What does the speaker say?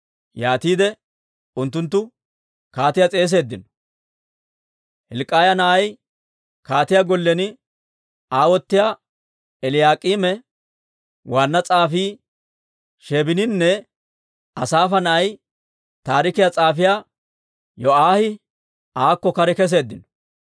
Yaatiide unttunttu kaatiyaa s'eeseeddino. Hilk'k'iyaa na'ay kaatiyaa gollen aawotiyaa Eliyaak'iime, waanna s'aafii Sheebininne Asaafa na'ay taarikiyaa s'aafiyaa Yo'aahi aakko kare keseeddino.